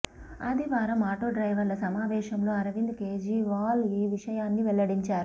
ఆదివారం ఆటో డ్రైవర్ల సమావేశంలో అరవింద్ కేజ్రీవాల్ ఈ విషయాన్ని వెల్లడించారు